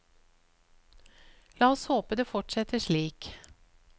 La oss håpe det fortsetter slik.